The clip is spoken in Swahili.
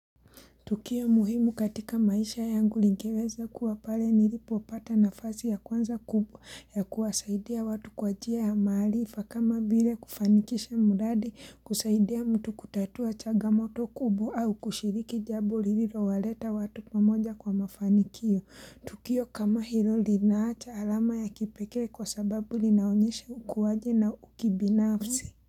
Tukio muhimu katika maisha yangu lingeweza kuwa pale nilipo pata nafazi ya kwanza kubwa ya kuwasaidia watu kwa njia ya mahaarifa kama vile kufanikisha mradi kusaidia mtu kutatua chaga moto kubwa au kushiriki jambo lilo waleta watu pamoja kwa mafanikio. Tukio kama hilo linaacha alama ya kipekee kwa sababu linaonyesha ukuwaji na ukibinafsi.